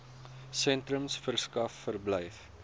sentrums verskaf verblyf